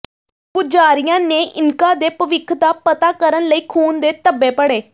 ਪੁਜਾਰੀਆਂ ਨੇ ਇਨਕਾ ਦੇ ਭਵਿੱਖ ਦਾ ਪਤਾ ਕਰਨ ਲਈ ਖੂਨ ਦੇ ਧੱਬੇ ਪੜ੍ਹੇ